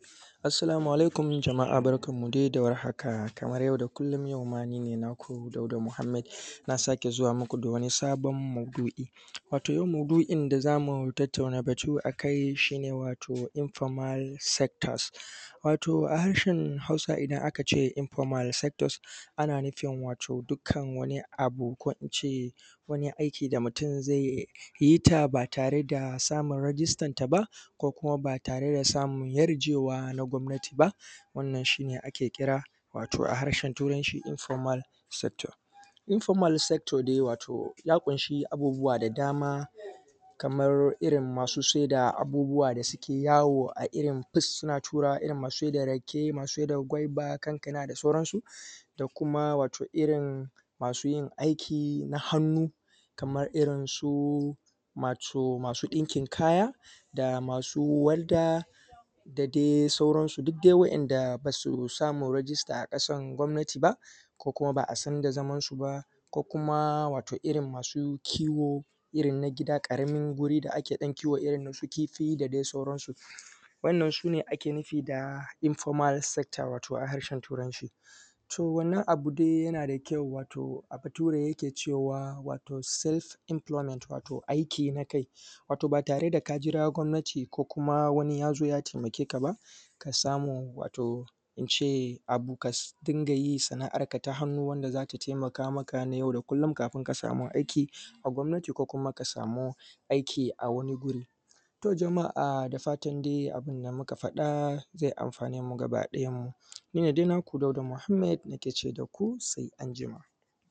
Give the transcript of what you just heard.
Assalamu alaikum jama’a kamar kullum dai yau ma ni ne naku Dauda Muhammed na sake zuwa muku da wani sabon maudu’i. To yau maudu’in da za mu tattauna batu a kai shi ne wato Informal Sectors wato a harshen Hausa ana nufin wato dukkan wani aiki da mutum zai yi ba tare da register ba ko kuma ba tare da samun yarjeewa na gwamnati ba, wannan shi ne ake kira wato Informal Sector. Wato ya ƙunshi abubuwa da dama kamar irin masu saida abubuwa da suke yawo kamar irin masu saida rake, gwaiba da sauran su, da kuma masu yin irin aiki na hannu kamar irin wato masu ɗinkin kaya da masu walda da dai sauran su, duk irin waɗannan da ba su samu register a ƙasan gwamnati ba ko kuma ba a san da zaman su ba. Ko kuma wato irin masu kiwo na gida ƙaramin wuri kamar inda ake kiwon irin su kifi da sauran su. Wannan su ne ake nufi wato Informal Sector wato a harshen Turanci. To wannan abu dai yana da kyau wato Bature yake cewa Self Employment wato aiki na kai ba tare da ka jira gwamnati ko wani ya taimake ka ba. Ka samu wato ka ringa sana’ar ka ta hannu ka samu na yau da kullun kafin ainihin gwamnati ta baka aiki ko kuma wato ka sami aiki a wani wuri. Ku da fatan abin da muka gaya zai amfane mu bakiɗaya. Ni ne dai naku Dauda Muhammed nake cewa da ku sai anjima.